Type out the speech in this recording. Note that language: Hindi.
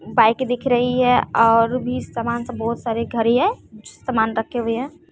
बाइक दिख रही है और भी सामान सब बहुत सारे घर ही है कुछ सामान रखे हुए हैं।